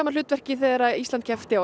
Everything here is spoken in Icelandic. hlutverki þegar Ísland keppti á